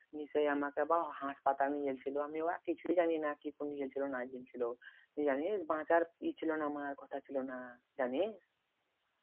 নিয়ে সেই আমাকে আবার হাসপাতাল নিয়ে গিয়েছিল আমি আবার কিছুই জানিনাকি করে নিয়ে গেলছিলো না গেলছিলো গেছিলাম নিয়ে জানিস বাঁচার ই ছিল না আমার কথা ছিল না। জানিস